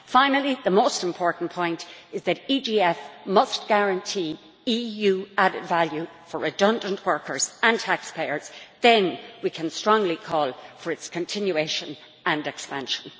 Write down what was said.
Finally, the most important point is that the EGF must guarantee EU added value for redundant workers and taxpayers. Then we can strongly call for its continuation and expansion.